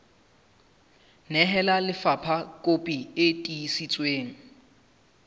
nehela lefapha kopi e tiiseditsweng